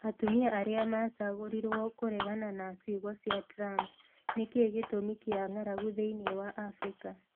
Atumia arĩa "macagũrirũo" kũregana na ciugo cia Trump Nĩ kĩ gĩtũmi kĩa ng'aragu thĩinĩ wa Afrika